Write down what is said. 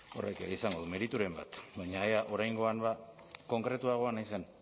horrek izango du merituren bat baina ea oraingoan konkretuagoa naizen